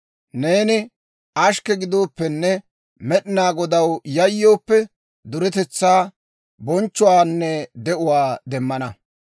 Neeni ashkke gidooppenne Med'inaa Godaw yayyooppe, duretetsaa, bonchchuwaanne de'uwaa demmana.